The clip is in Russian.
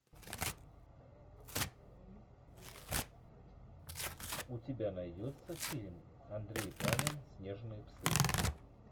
у тебя найдется фильм андрей панин снежные псы